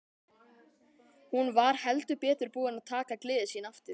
Hún var heldur betur búin að taka gleði sína aftur.